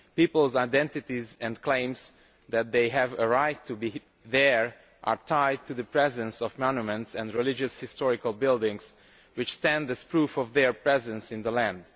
Peoples' identities and claims that they have a right to be there are tied to the presence of monuments and religious historical buildings which stand as proof of their presence in the land.